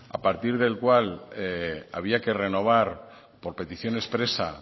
a partir del cual había que renovar por petición expresa